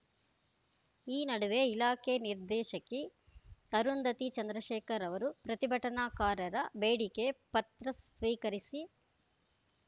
ಈ ನಡುವೆ ಇಲಾಖೆ ನಿರ್ದೇಶಕಿ ಅರುಂಧತಿ ಚಂದ್ರಶೇಖರ್‌ ಅವರು ಪ್ರತಿಭಟನಾಕಾರರ ಬೇಡಿಕೆ ಪತ್ರ ಸ್ವೀಕರಿಸಿ